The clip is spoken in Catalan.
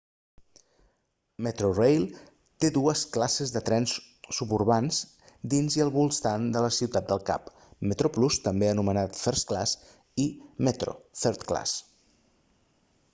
metrorail té dues classes de trens suburbans dins i als voltants de ciutat del cap: metroplus també anomenat first class i metro third class